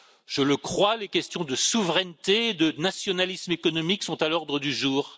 Je le crois, les questions de souveraineté et de nationalisme économique sont à l'ordre du jour.